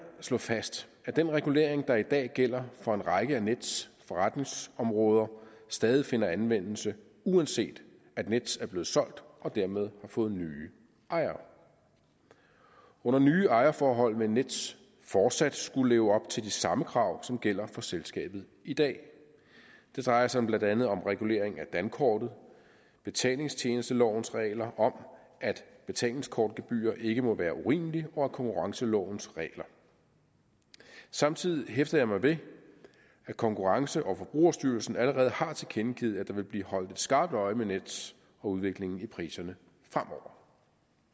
slå fast at den regulering der i dag gælder for en række af nets forretningsområder stadig finder anvendelse uanset at nets er blevet solgt og dermed har fået nye ejere under nye ejerforhold vil nets fortsat skulle leve op til de samme krav som gælder for selskabet i dag det drejer sig blandt andet om regulering af dankortet betalingstjenestelovens regler om at betalingskortgebyrer ikke må være urimelige og af konkurrencelovens regler samtidig hæfter jeg mig ved at konkurrence og forbrugerstyrelsen allerede har tilkendegivet at der vil blive holdt skarpt øje med nets og udviklingen i priserne fremover